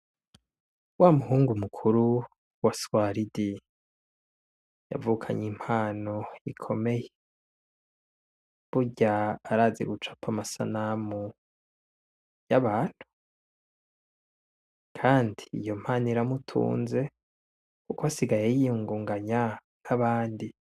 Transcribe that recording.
Wa muhungu mukuru wa swaridi yavukanye impano ikomeye, burya arazi gucapa amasanamu y'abantu, kandi iyo mpano iramutunze, kuko asigaye yiyungunganya nk'abandi.